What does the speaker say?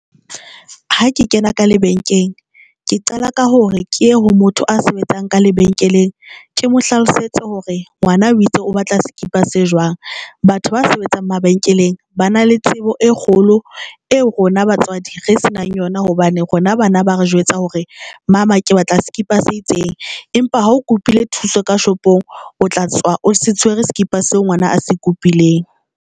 Ha ke kena ka lebenkeng ke qala ka hore ke ye ho motho a sebetsang ka lebenkeleng. Ke mo hlalosetse hore ngwana o itse o batla skipa se jwang. Batho ba sebetsang mabenkeleng ba na le tsebo e kgolo eo rona batswadi re se nang yona, hobane rona bana ba re jwetsa hore mama ke batla skipa se itseng, empa ha o kopile thuso ka shopong, o tla tswa o se tshwere skipa seo ngwana a se kupileng.